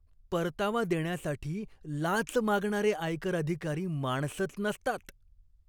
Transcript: परतावा देण्यासाठी लाच मागणारे आयकर अधिकारी माणसंच नसतात.